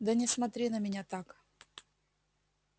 да не смотри на меня так